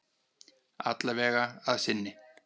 Alla vega að sinni.